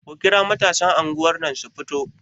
Ku kira matasan anguwar nan su fito!